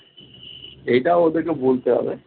ইটা ওদেরকে বলতে হবে।